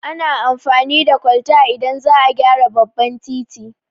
Ana amfani da kwalta idan za a gyara babban titi